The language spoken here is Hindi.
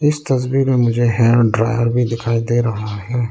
इस तस्वीर में मुझे हेयर ड्रायर भी दिखाई दे रहा है।